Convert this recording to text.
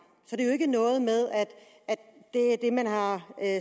så det er ikke noget med at man har